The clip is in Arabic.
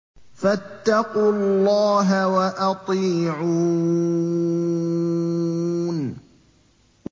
فَاتَّقُوا اللَّهَ وَأَطِيعُونِ